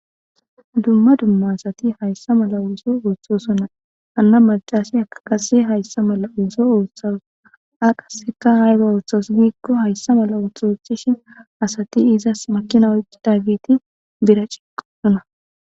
Dumma dumma asati hayssa mala uuso uuthosona anna macasi akaqase hayssa mala uuso uuththas a qasseka hayro uothos giikko hayssa mala uthu ochthishin asati izas makina oi daagiti bira cigoosona